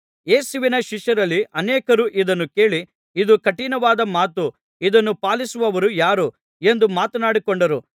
ಯೇಸುವಿನ ಶಿಷ್ಯರಲ್ಲಿ ಅನೇಕರು ಇದನ್ನು ಕೇಳಿ ಇದು ಕಠಿಣವಾದ ಮಾತು ಇದನ್ನು ಪಾಲಿಸುವವರು ಯಾರು ಎಂದು ಮಾತನಾಡಿಕೊಂಡರು